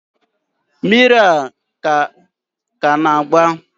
mmiri a ka na-agba?